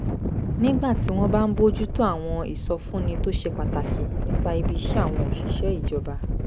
nígbà tí wọ́n bá ń bójú tó àwọn ìsọfúnni tó ṣe pàtàkì nípa ibi iṣẹ́ àwọn òṣìṣẹ́ ìjọba